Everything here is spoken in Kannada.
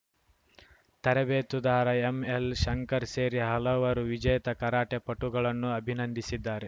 ತರಬೇತುದಾರ ಎಂಎಲ್‌ಶಂಕರ್‌ ಸೇರಿ ಹಲವರು ವಿಜೇತ ಕರಾಟೆ ಪಟುಗಳನ್ನು ಅಭಿನಂದಿಸಿದ್ದಾರೆ